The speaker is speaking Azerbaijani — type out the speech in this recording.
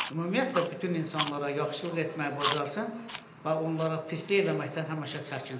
Ümumiyyətlə bütün insanlara yaxşılıq etməyi bacarsın və onlara pislik etməkdən həmişə çəkinsin.